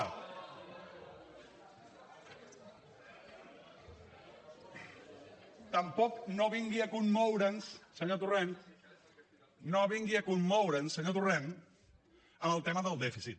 tampoc no vingui a commoure’ns senyor torrent no vingui a commoure’ns senyor torrent amb el tema del dèficit